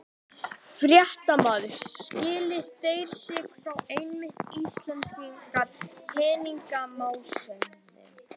Fréttamaður: Skilja þeir sig frá einmitt íslenskri peningamálastefnu?